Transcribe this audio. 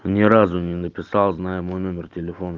ни разу не написал зная мой номер телефона